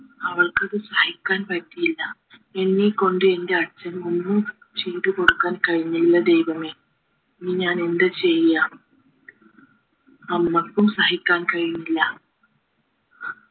അവൾക്കത് സഹിക്കാൻ പറ്റിയില്ല എന്നെ കൊണ്ട് എന്റെ അച്ഛന് ഒന്നും ചെയ്തുകൊടുക്കാൻ കഴിഞ്ഞില്ല ദൈവമേ ഇനി ഞാൻ എന്താ ചെയ്യാ അമ്മയ്ക്കും സഹിക്കാൻ കഴിഞ്ഞില്ല